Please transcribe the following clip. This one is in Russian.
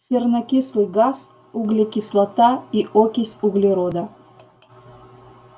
сернокислый газ углекислота и окись углерода